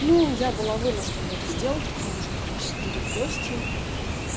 ну я была вынуждена это сделать потому что ко мне сейчас придут гости